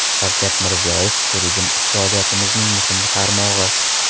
Shavkat Mirziyoyev: Turizm iqtisodiyotimizning muhim tarmog‘i.